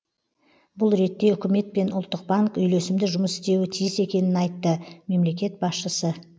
бұл ретте үкімет пен ұлттық банк үйлесімді жұмыс істеуі тиіс екенін айтты мемлекет басшысы